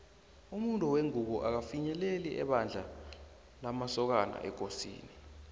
umuntu wengubo akafinyeleli ebandla lamasokana ekosini